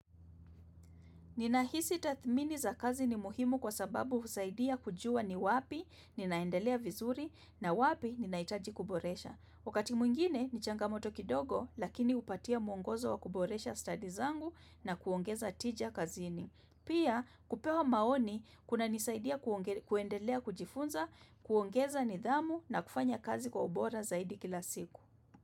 Ninahisi tathmini za kazi ni muhimu kwa sababu husaidia kujua ni wapi, ninaendelea vizuri na wapi, ninahitaji kuboresha. Wakati mwigine, ni changamoto kidogo, lakini hupatia mwongozo wa kuboresha stadi zangu na kuongeza tija kazini. Pia, kupewa maoni, kunanisaidia kuendelea kujifunza, kuongeza nidhamu na kufanya kazi kwa ubora zaidi kila siku.